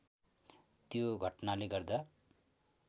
त्यो घटनाले गर्दा